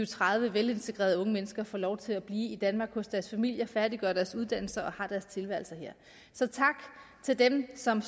tredive velintegrerede unge mennesker får lov til at blive i danmark hos deres familier færdiggør deres uddannelse og har deres tilværelse her så tak til dem som